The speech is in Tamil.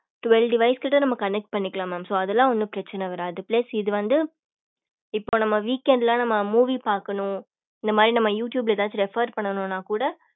twelve device கிட்ட கூட நம்ம connect பண்ணிக்கலாம் mam so அதல ஒன்னு பிரச்சன வரது plus இது வந்து இப்போ நம்ம week end ல நம்ம movie பாக்கணும் இந்த மாதிரி நம்ம youtube ல எதாச்சும் refer பண்ணணும்னா கூட